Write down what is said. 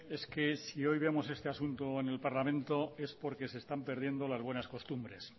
es que es si hoy vemos este asunto en el parlamento es porque se están perdiendo las buenas costumbres